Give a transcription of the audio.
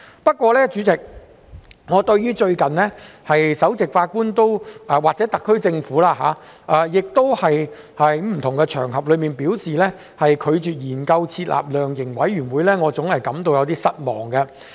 不過，代理主席，我對首席法官或特區政府最近在不同的場合上，表示拒絕研究設立量刑委員會，我總感到有點失望。